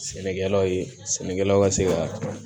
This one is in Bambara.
Sɛnɛkɛlaw ye sɛnɛkɛlaw ka se ka